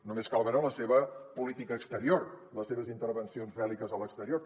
només cal veure la seva política exterior les seves intervencions bèl·liques a l’exterior